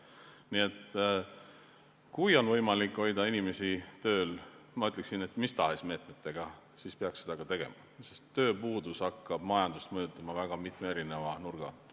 Nii et kui on võimalik hoida inimesi tööl, ma ütleksin, mis tahes meetmetega, siis peaks seda ka tegema, sest tööpuudus hakkab majandust mõjutama väga mitme nurga alt.